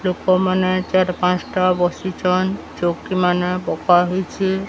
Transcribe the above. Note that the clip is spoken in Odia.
ଲୋକ ମାନେ ଚାରି ପାଁଶଟା ବସିଚନ୍। ଚୌକି ମାନେ ପକାହେଇଚି।